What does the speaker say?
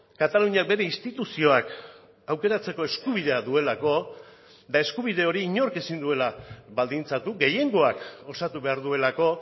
kataluniak bere instituzioak aukeratzeko eskubidea duelako eta eskubide hori inork ezin duela baldintzatu gehiengoak osatu behar duelako